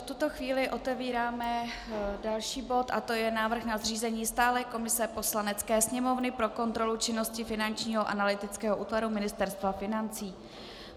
V tuto chvíli otevíráme další bod a to je Návrh na zřízení stálé komise Poslanecké sněmovny pro kontrolu činnosti Finančního analytického útvaru Ministerstva financí.